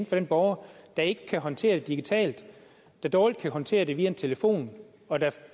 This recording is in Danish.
for den borger der ikke kan håndtere det digitalt der dårligt kan håndtere det via en telefon og der